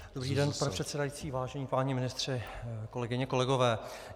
Dobrý den, pane předsedající, vážení páni ministři, kolegyně, kolegové.